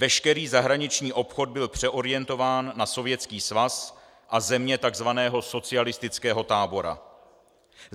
Veškerý zahraniční obchod byl přeorientován na Sovětský svaz a země tzv. socialistického tábora.